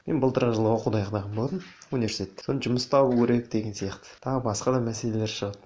мен былтырғы жылы оқуды аяқтаған болатынмын университетті сосын жұмыс табу керек деген сияқты тағы басқа да мәселелер шығады